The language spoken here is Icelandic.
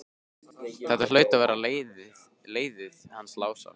Þetta hlaut að vera leiðið hans Lása.